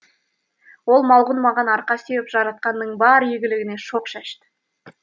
ол малғұн маған арқа сүйеп жаратқанның бар игілігіне шоқ шашты